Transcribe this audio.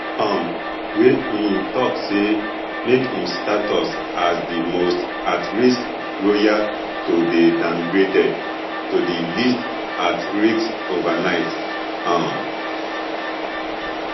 um wey im tok say make im status as di most at risk royal to dey downgraded to di least at risk overnight um